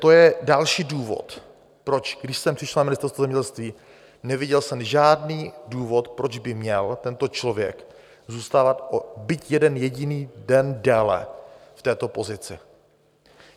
To je další důvod, proč, když jsem přišel na Ministerstvo zemědělství, neviděl jsem žádný důvod, proč by měl tento člověk zůstávat byť o jeden jediný den déle v této pozici.